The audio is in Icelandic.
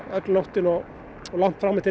öll nóttin og fram eftir